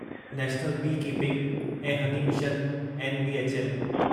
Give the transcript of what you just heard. national bee keeping ऐं honey mission NBHM